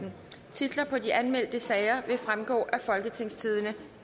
titler på de anmeldte sager vil fremgå af folketingstidende